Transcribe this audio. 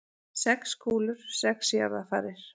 Sex kúlur, sex jarðarfarir.